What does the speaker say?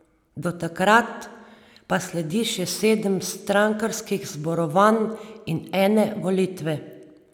Do takrat pa sledi še sedem strankarskih zborovanj in ene volitve.